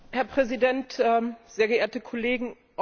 Herr Präsident, sehr geehrte Kollegen!